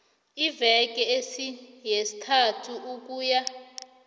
iimveke ezisithandathu ukuya